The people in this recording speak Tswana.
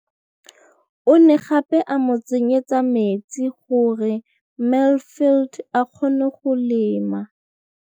O ne gape a mo tsenyetsa metsi gore Mansfield a kgone go lema.